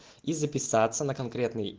и записаться на конкретный